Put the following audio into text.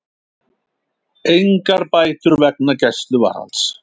Engar bætur vegna gæsluvarðhalds